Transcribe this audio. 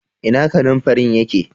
Ina kananfarin ya ke?